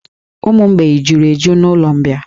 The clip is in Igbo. Ụmụ mgbei juru eju na'ụlọ mbịà.